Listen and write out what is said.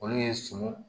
Olu ye sun